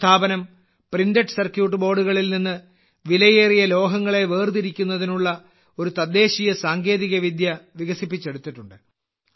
ഈ സ്ഥാപനം printed circuit ബോർഡുകളിൽ നിന്ന് വിലയേറിയ ലോഹങ്ങളെ വേർതിരിക്കുന്നതിനുള്ള ഒരു തദ്ദേശീയ സാങ്കേതികവിദ്യ വികസിപ്പിച്ചെടുത്തിട്ടുണ്ട്